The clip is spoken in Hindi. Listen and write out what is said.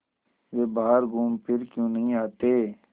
वे बाहर घूमफिर क्यों नहीं आते